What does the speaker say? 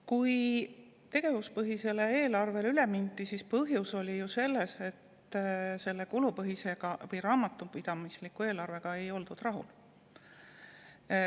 Kui tegevuspõhisele eelarvele üle mindi, siis oli põhjus ju selles, et kulupõhise või raamatupidamisliku eelarvega ei oldud rahul.